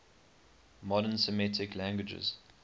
modern semitic languages